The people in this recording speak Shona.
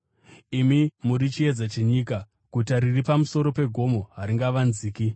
“Imi muri chiedza chenyika. Guta riri pamusoro pegomo haringavanziki.